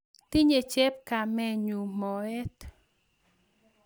tinye chepkomenyu moet